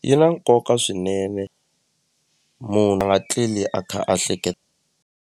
Yi na nkoka swinene munhu a nga tleli a kha a .